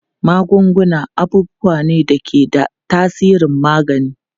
Magunguna abubuwa ne da ke da tasirin magani.